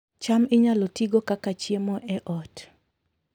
cham inyalo tigo kaka chiemo e ot